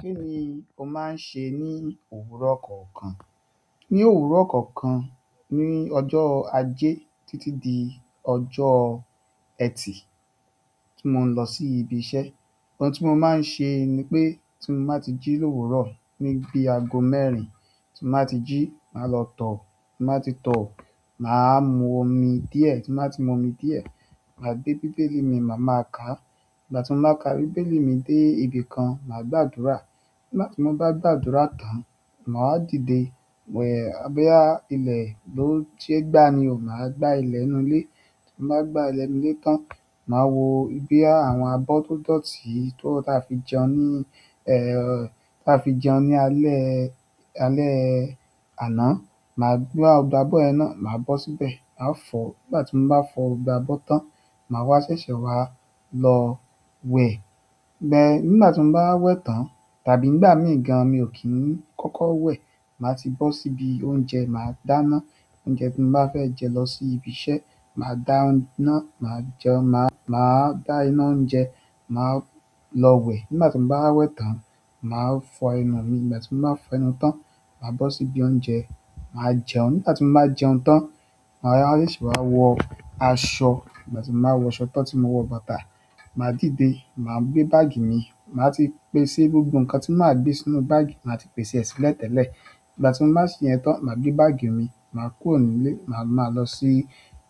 Kini o maa se ni òwúrọ̀ kọ̀ọ̀kan? Ni òwúrọ̀ kọ̀ọ̀kan, ni ọjọ́ ajé títí dé ọjọ́ Ẹtì tí mo ń lọ sí ibi iṣẹ́. Ohun tí mo máa ń ṣe ni pé tí mo bá ti jí l'òwúrò ní bí aago mẹ́rin, tí mo bá ti jí, màá lọ tọ. Tí n bá ti tọ, màá mu omi díẹ̀. Tí n bá ti mu omi díẹ̀, màá gbé Bíbélì mi, màá máa ka. Ìgbà tí n bá ka Bíbélì mi dé ibi kan, màá gbàdúrà. Nígbà tí mo bá gbàdúrà tán, màá wa dìde. Boya ilẹ̀ ló ṣe gbá ni o, màá gbá ilẹ̀ ínú ilé. Ti n ba gba ilẹ inú ile tan, maa wo boya àwọn abọ to dọ̀tí ta fi jẹun ni alẹ́ àná. Gbogbo abọ́ yẹn náà, màá bọ́ síbẹ̀, màá fọ̀. Nígbà tí mo bá fọ gbogbo abọ́ tán, màá wá ṣẹ̀ṣẹ̀ wá lọ wẹ̀. Nígbà tí mo bá wẹ̀ tán tàbí nígbà mí ì gan, mi ò kí i kọ́kọ́ wẹ̀. Màá ti bọ́ síbi oúnjẹ, màá dáná. Oúnjẹ tí mo bá fẹ́ jẹ lọ sí ibi iṣẹ́, màá dá iná, màá jẹun. Màá dá iná oúnjẹ, màá lọ wẹ̀. Nígbà tí mo bá wẹ̀ tán, màá fọ ẹnu mi. Nígbà tí mo bá fọ ẹnu tán, màá bọ́ síbi oúnjẹ, màá jẹun. Nígbà ti mo bá jẹun tan, maa wá ṣẹṣẹ wa wọ aṣọ nígbà tí mo bá wọ aṣọ tán tí mo wọ bàtà, màá dìde, màá gbé báàgì mi. Ma tii pèsè gbogbo nǹkan ti i máa gbé sínú baagi maa ti i pese e sílè tẹlẹ nígbà tí mo bá ṣe yẹn tán, màá gbé báàgì mi, màá kúrò nílé, màá máa lọ sí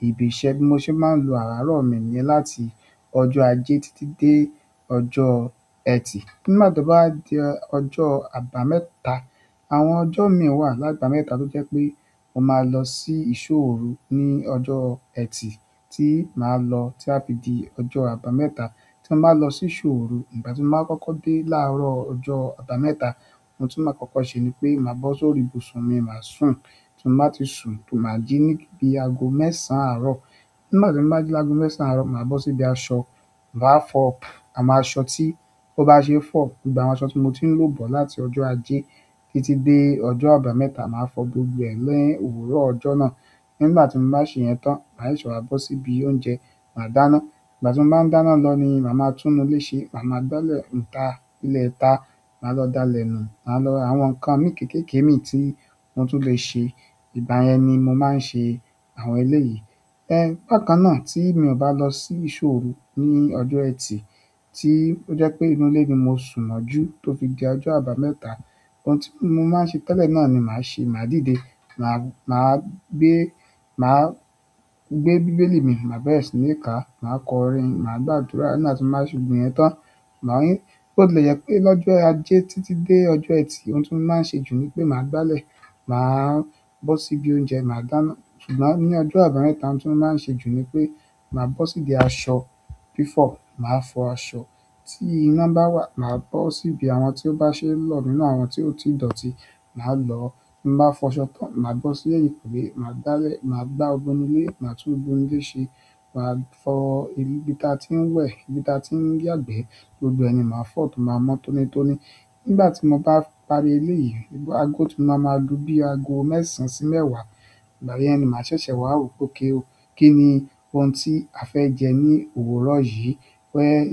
ibi iṣẹ́ bí mo ṣe máa ń lo àárọ̀ mi nyẹn láti ọjọ́ ajé títí dé ọjọ́ Ẹtì. Nígbà tó bá wa di ọjọ́ àbámẹ́ta, àwọn ọjọ́ mi i wà lábàámẹ́ta tó jẹ́ pé mo máa lọ sí ìṣó òru ní ọjọ́ Ẹtì tí màá lọ tí a fi di ọjọ́ àbámẹ́ta. Tí mo bá lọ sí ìṣó òru, ìgbà tí mo bá kọ́kọ́ dé láàárọ̀ ọjọ́ àbámẹ́ta, ohun tí màá kọ́kọ́ ṣe ni pé màá bọ́ sórí ibùsùn mi, màá sùn. Tí mo bá ti sùn máa jí ní bí aago mẹ́sàn-án àárọ̀. Nígbà tí mo bá jí lágo mẹ́sàn-án àárọ̀, màá bọ́ síbi aṣọ, màá fọ àwọn aṣọ tí ó bá ṣe fọ̀. Gbogbo àwọn aṣọ tí mo ti ń lò bọ̀ láti ọjọ́ ajé títí dé ọjọ́ àbámẹ́ta, màá fọ gbogbo ẹ̀ ni òwúrọ̀ ọjọ́ náà. Nígbà tí mo bá ṣe yẹn tán, màá ṣẹṣẹ wà bọ́ síbi oúnjẹ, màá dáná. Ìgbà tí mo bá dáná lọ ni màá maa tún inú ilé ṣe, màá maa gbálẹ̀ ìta, ilẹ̀ ìta, màá lọ dalẹ̀ nù, àwọn nǹkan mi kéékèèké mi tí wọn tún lè ṣe. Ìgbà yẹn ni mo máa ń ṣe àwọn eléyìí. Bákan náà tí mi ò bá lọ sí ìṣó òru ní ọjọ́ Ẹtì tí ó jẹ́ pé inú ilé mi mo sùn mọ́jú tó fi di ọjọ́ àbámẹ́ta, ohun tí mo máa ń ṣe tẹ́lẹ̀ náà ni màá ṣe. Màá dìde, màá gbé Bíbélì mi, màá bẹ̀rẹ̀ sí ní ka, màá kọrin, màá gbàdúrà. Nígbà ti mo bá ṣe gbogbo ìyẹn tan, bo ti le jẹ pe lọ́jọ́ ajé titi dé ọjọ eti, ohun ti i mo maa n ṣe jù ni pé máa gbale, máa bọ sibi oúnjẹ maa dáná ṣùgbọ́n ní ọjọ́ àbámẹ́ta ohun tí mo máa ń ṣe jù ni pé màá bọ́ sídi aṣọ. Fifo màá fọ aṣọ. Tí iná bá wà, màá bọ́ síbi àwọn tí ó bá ṣe lọ̀ nínú àwọn tí ó ti dọ̀tí, màá lọ. Bí n bàá fọ aṣọ tán, màá bọ́ sí ẹ̀yìnkùlé, màá gbálẹ̀, màá gbá gbogbo inú ilé, màá tún gbogbo ilé ṣe. Màá fọ ibi tí a ti ń wẹ̀, ibi tí a ti ń yagbẹ́. Gbogbo ẹ̀ ni màá fọ̀ tó màá mọ́ tónítóní. Nígbà tí mo bá parí eléyìí, aago tí màá máa lu bí aago mẹ́sàn-án sí mẹ́wàá. Ìgbà yẹn ni màá ṣẹ̀ṣẹ̀ wá wò pe okay o. Kí ni ohun tí a fẹ́ jẹ ní òwúrọ̀ yìí.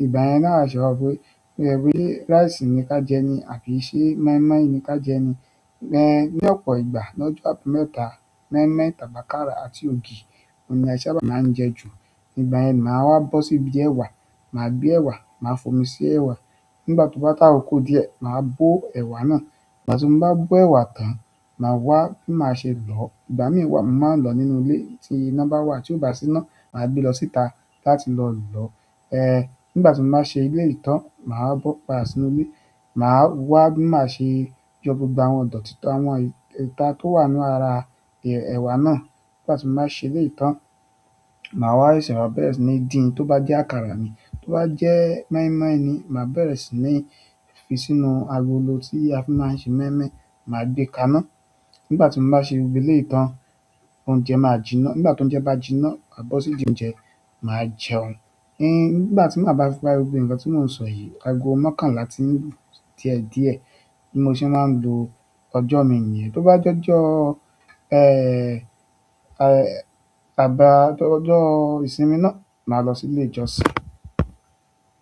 Ìgbà yẹn ni awa ṣe wa wo pé se rice ni ká jẹ ni àbí ṣẹ́ mọ́ímọ́í ni ká jẹ ni. Ní ọ̀pọ̀ ìgbà, lọ́jọ́ àbámẹ́ta, mọ́ímọ́í tàbí akára àti ògì ohun ni a ṣà ba máa ń jẹ jù. Ìgbà yẹn ni màá wá bọ́ sídi ẹ̀wà, màá gbé ẹ̀wà, màá fomi sí ẹ̀wà. Nígbà tó bá to àkókò díẹ̀, màá bó ẹ̀wà náà. Ìgbà tí mo bá bó ẹ̀wà tán, màá wá, bi i màá ṣe lọ́. Ìgbà mìí wa mo màá n lọ nínú ilé tí iná bá wà. Tí ò bá sí iná, màá gbé lọ síta láti lọ lọ́. Nígbà tí mo bá ṣe eleyìí tán, màá bọ̀ padà sínú ilé. Màá wá bi i màá ṣe yọ gbogbo àwọn ọ̀dọ̀tí tán, àwọn ìta tó wà ínú ara ẹ̀wà náà. Nígbà tí mo bá ṣe ilé yìí tán, màá rí ṣìwà bẹ̀rẹ̀ sí ní dín. Tó bá jẹ́ àkàrà ni, tó bá jẹ́ mọ́ímọ́í ni, màá bẹ̀rẹ̀ sí ní fi sínú agolo tí a fi máa ń ṣe mọ́ímọ́í, màá gbé ká iná. Nígbà tí mo bá ṣe gbogbo eleyìí tán, oúnjẹ máa jiná. Nígbà tí oúnjẹ bá jiná, màá bọ́ sí idi oúnjẹ, màá jẹun. Nígbà tí màá bá fi parí gbogbo nǹkan tí mò ń sọ yìí, aago mokànlá ti i lu diẹ diẹ. Bí mo ṣe máa ń lo ọjọ́ mi niyẹn. Tó bá jọ́jọ́ ọjọ́ ìsinmi náà, màá lọ sí ilé ìjọsìn.